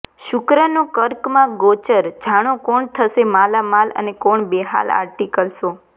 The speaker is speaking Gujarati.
શુક્રનો કર્કમાં ગોચરઃ જાણો કોણ થશે માલામાલ અને કોણ બેહાલ આર્ટિકલ શો